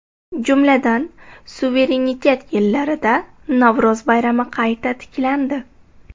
Jumladan, suverenitet yillarida Navro‘z bayrami qayta tiklandi.